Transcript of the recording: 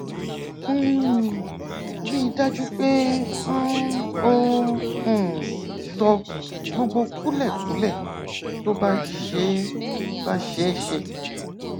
um rí i dájú pé um o um sọ gbogbo kúlẹkúlẹ tó bá ṣeé bá ṣeé ṣe